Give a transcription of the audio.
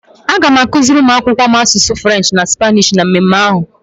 Aga m akuziri ụmụ akwụkwọ m asụsụ French na Spanish na mmemme ahụ.